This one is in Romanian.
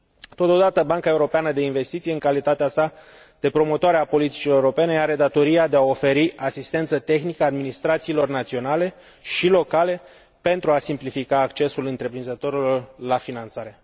Totodată, Banca Europeană de Investiții, în calitatea sa de promotoare a politicilor europene, are datoria de a oferi asistență tehnică administrațiilor naționale și locale pentru a simplifica accesul întreprinzătorilor la finanțare.